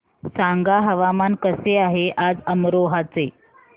सांगा हवामान कसे आहे आज अमरोहा चे